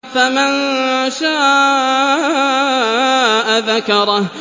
فَمَن شَاءَ ذَكَرَهُ